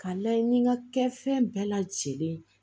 Ka layɛ ni ŋa kɛ fɛn bɛɛ lajɛlen ye